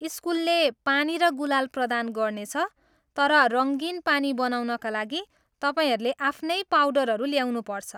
स्कुलले पानी र गुलाल प्रदान गर्नेछ, तर रङ्गीन पानी बनाउनका लागि तपाईँहरूले आफ्नै पाउडरहरू ल्याउनुपर्छ।